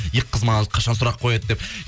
екі қыз қашан маған сұрақ қояды деп